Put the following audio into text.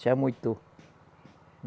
Se amoitou.